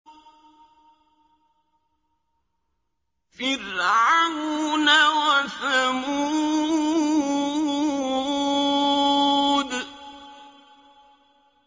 فِرْعَوْنَ وَثَمُودَ